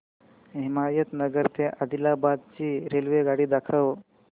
हिमायतनगर ते आदिलाबाद ची रेल्वेगाडी दाखवा